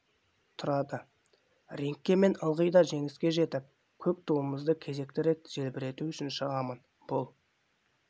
тұрады рингке мен ылғи да жеңіске жетіп көк туымызды кезекті рет желбірету үшін шығамын бұл